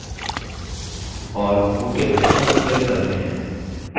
और ok button पर click करते हैं